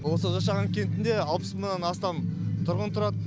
осы зашаған кентінде алпыс мыңнан астам тұрғын тұрады